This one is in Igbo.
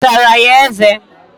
Isara ya eze?